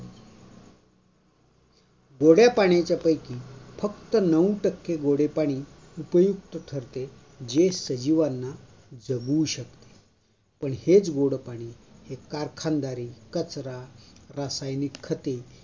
गोड्या पाण्याच्या पैकी फक्त नऊ टक्के गोडे पाणी उपयुक्त ठरते. जे सजीवांना जगवू शकते. पण हेच गोडे पाणी कारखानदारी, कचरा, रासायनिक खते